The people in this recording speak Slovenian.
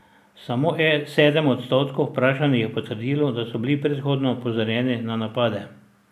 Samo sedem odstotkov vprašanih je potrdilo, da so bili predhodno opozorjeni na napade.